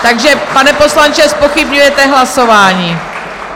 Takže pane poslanče, zpochybňujete hlasování.